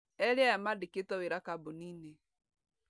Erĩ aya mandĩktwo wĩra kambuni-inĩ.